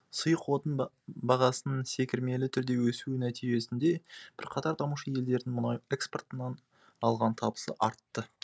сұйық отын бағасының секірмелі түрде өсуі нәтижесінде бірқатар дамушы елдердің мұнай экспортынан алған табысы артты